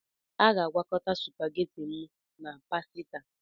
Aga-agwokọta supageti m na pasita